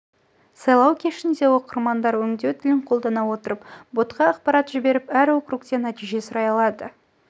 сайлау кешінде оқырмандар ғи өңдеу тілін қолдана отырып ботқа ақпарат жіберіп әр округтен нәтиже сұрай алды